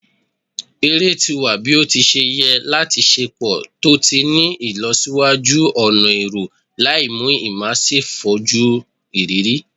Ere ti wa ni o ti ṣe yẹ lati ṣepọ to ti ni ilọsiwaju ọna ẹrọ, laimu immersive foju iriri